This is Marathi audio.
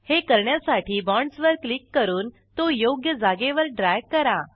हे करण्यासाठी बाँडस वर क्लिक करून तो योग्य जागेवर ड्रॅग करा